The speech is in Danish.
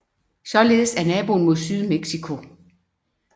Således er naboen mod syd Mexico